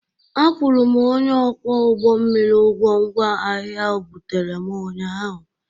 Akwụrụ m onye ọkwọ ụgbọ mmiri ụgwọ ngwa ahịa o buteere m ụnyaahụ.